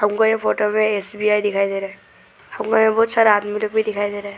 हमको ये फोटो मे एस_बी_आई दिखाई दे रहा है हमको यहां बहुत सारा आदमी लोग भी दिखाई दे रहा है।